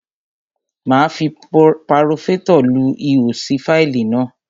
Máa fi paforétọ̀ lu ihò sí fáìlì náà.